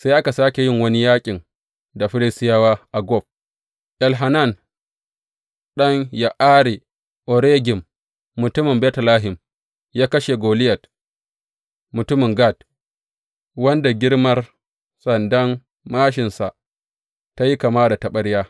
Sai aka sāke yin wani yaƙin da Filistiyawa a Gob, Elhanan ɗan Ya’are Oregim mutumin Betlehem ya kashe Goliyat mutumin Gat, wanda girmar sandan māshinsa ta yi kama da taɓarya.